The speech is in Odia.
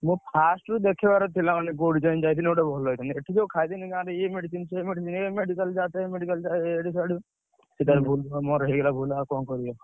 ମୋର first ରୁ ଦେଖେଇବାର ଥିଲା ମାନେ କୋଉଠି ଯାଇ ଯାଇଥିଲେ ଭଲ ହେଇଥାନ୍ତା ଏଠି ଯୋଉ ଖାଇଦେଲି ଗାଁରେ ଇଏ medicine ସିଏ medicine ଏ medical ଯା ସେ medical ଯା ଇଆଡୁ ସିଆଡୁ। ମୋର ହେଇଗଲା ଭୁଲ ଆଉ କଣ କରିଆ?